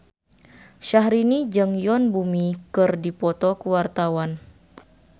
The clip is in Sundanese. Syahrini jeung Yoon Bomi keur dipoto ku wartawan